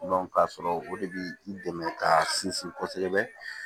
ka sɔrɔ o de bi i dɛmɛ ka sinsin kosɛbɛ